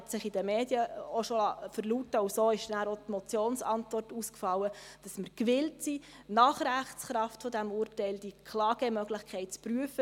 Er hat sich in den Medien auch schon verlauten lassen, und so ist danach auch die Motionsantwort ausgefallen, nämlich, dass wir gewillt sind, die Klagemöglichkeit nach Rechtskraft dieses Urteils zu prüfen.